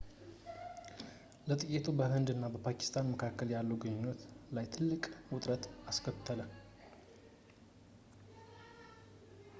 ጥቃቱ በህንድ እና ፓኪስታን መካከል ያሉ ግንኙነቶች ላይ ትልቅ ውጥረት አስከተለ